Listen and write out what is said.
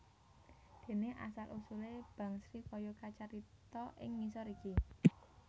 Dene asal usule Bangsri kaya kacarita ing ngisor iki